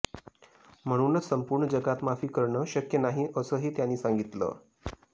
म्हणूनच संपूर्ण जकात माफी करणं शक्य नाही असंही त्यांनी सांगितलं